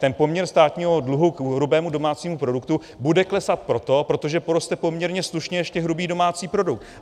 Ten poměr státního dluhu k hrubému domácímu produktu bude klesat proto, protože poroste poměrně slušně ještě hrubý domácí produkt.